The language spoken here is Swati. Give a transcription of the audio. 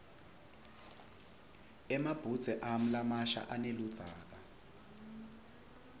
emabhudze ami lamasha aneludzaka